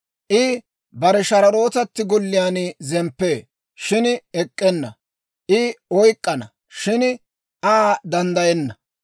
I bare shararootatti golliyaan zemppee, shin ek'k'enna; I Aa oyk'k'ana, shin Aa danddayenna.